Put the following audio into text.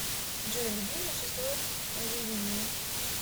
джой любимое число дудиной